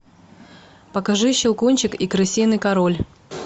покажи щелкунчик и крысиный король